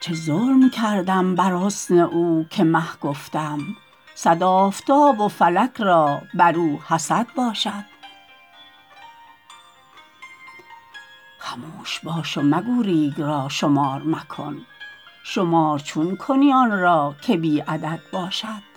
چه ظلم کردم بر حسن او که مه گفتم صد آفتاب و فلک را بر او حسد باشد خموش باش و مگو ریگ را شمار مکن شمار چون کنی آن را که بی عدد باشد